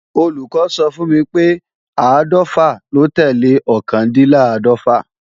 Olùkọ́ sọ fún mi pé áàdọ́fà ló tẹ́lẹ̀ ọkàndínláàdọ́fà